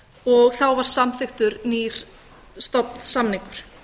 og þá var samþykktur nýr stofnsamningur